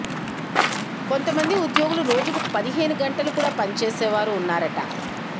కొంతమంది ఉద్యోగులు రోజుకు పదిహేను గంటలు కూడా పని చేసే వారు ఉన్నారట